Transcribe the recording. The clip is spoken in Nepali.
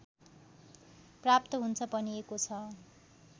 प्राप्त हुन्छ भनिएको छ